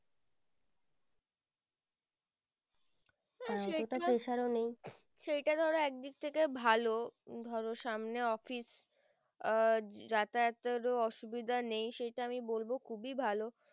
সেইটা ধরো এক দিক থেকে ভালো ধরো সামনে office আহ যাতায়াতের এরও অসুভিদা নেই সেটা আমি বলবো খুবই ভালো